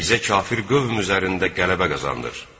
Bizə kafir qövm üzərində qələbə qazandır!